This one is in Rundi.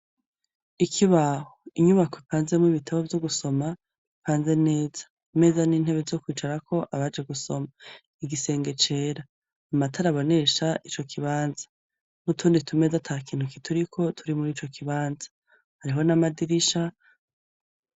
ikibaho inyubako ipanze mu bitabo vyo gusoma ipanze neza imeza n'intebe zo kwicarako abaje gusoma igisenge cera amatari abonesha ico kibanza n'utundi tumeza atakintu kituriko turi muri ico kibanza hariho n'amadirisha